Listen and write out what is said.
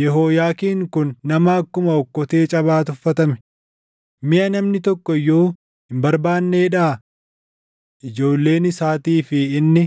Yehooyaakiin kun nama akkuma okkotee cabaa tuffatame, miʼa namni tokko iyyuu hin barbaanneedhaa? Ijoolleen isaatii fi inni